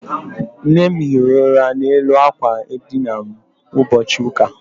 Nne m hiri ụra n'elu àkwà edina m ụbọchị ụka.